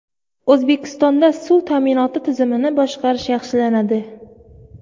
O‘zbekistonda suv ta’minoti tizimini boshqarish yaxshilanadi.